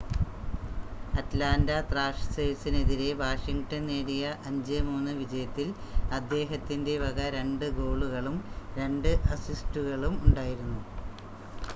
Atlanta ത്രാഷേഴ്‌സിനെതിരെ Washington നേടിയ 5-3 വിജയത്തിൽ അദ്ദേഹത്തിൻ്റെ വക 2 ഗോളുകളും 2 അസിസ്റ്റുകളും ഉണ്ടായിരുന്നു